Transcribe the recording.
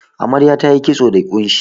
Amarya tayi kitso da ƙunshi.